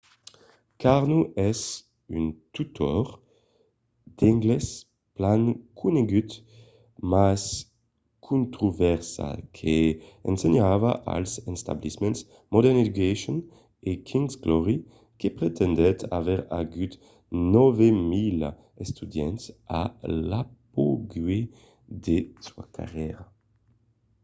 karno es un tutor d'anglés plan conegut mas controversat que ensenhava als establiments modern education e king's glory que pretendèt aver agut 9 000 estudiants a l'apogèu de sa carrièra